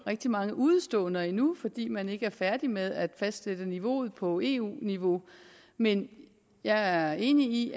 rigtig mange udeståender endnu fordi man ikke er færdig med at fastsætte niveauet på eu niveau men jeg er enig i